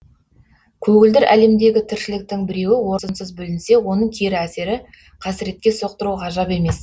көгілдір әлемдегі тіршіліктің біреуі орынсыз бүлінсе оның кері әсері қасіретке соқтыруы ғажап емес